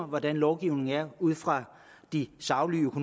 hvordan lovgivningen er ud fra de saglige og